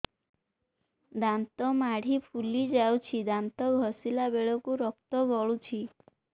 ଦାନ୍ତ ମାଢ଼ୀ ଫୁଲି ଯାଉଛି ଦାନ୍ତ ଘଷିଲା ବେଳକୁ ରକ୍ତ ଗଳୁଛି